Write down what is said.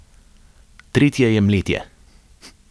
Tretje je mletje.